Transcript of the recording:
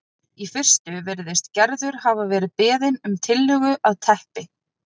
Í fyrstu virðist Gerður hafa verið beðin um tillögu að teppi